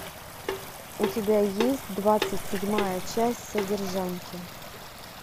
у тебя есть двадцать седьмая часть содержанки